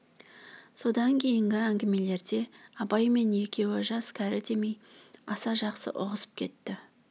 содан кейінгі әңгімелерде абай мен екеуі жас-кәрі демей аса жақсы ұғысып кетті